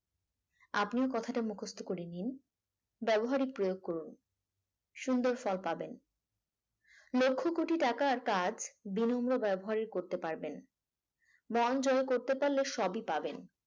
আপনিও কথাটা মুখস্ত করে নিন ব্যবহারে প্রয়োগ করুন সুন্দর ফল পাবেন লক্ষ কোটি টাকার কাজ বিনিমন্ন ব্যবহারে করতে পারবেন। মন জয় করতে পারলে সবই পাবেন